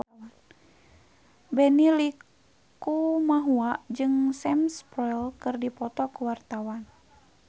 Benny Likumahua jeung Sam Spruell keur dipoto ku wartawan